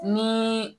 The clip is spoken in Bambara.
Ni